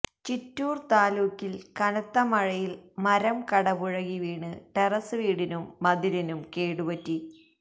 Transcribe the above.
ചിറ്റൂര് താലൂക്കില് കനത്തമഴയില് മരംകടപുഴകി വീണ് ടെറസ് വീടിനും മതിലിനും കേടുപറ്റി